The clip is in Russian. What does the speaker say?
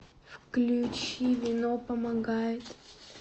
включи вино помогает